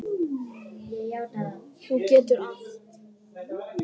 Þú getur allt.